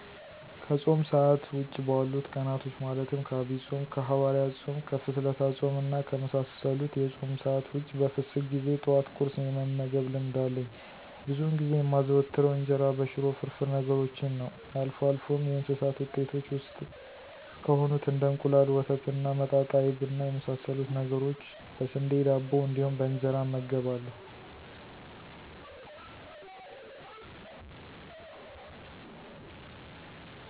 ከፆም ሰአት ውጪ ባሉት ቀናቶች ማለትም ከአብይ ፆም፣ ከሀዋርያት ፆም፣ ከፍስለታ ፆም እና ከመሳሰሉት የፆም ሰአት ውጭ በፍስክ ጊዜ ጠዋት ቁርስ የመመገብ ልምድ አለኝ። ብዙውን ጊዜ የማዘወትረው እንጀራ በሽሮ፣ ፍርፍር ነገሮችን ነዉ። አልፎ አልፎም የእንስሳት ውጤቶች ውስጥ ከሆኑት እንደ እንቁላል፣ ወተት እና መጣጣ አይብ እና የመሳሰሉትን ነገሮች በስንዴ ዳቦ እንዲሁም በእንጀራ እመገባለሁ።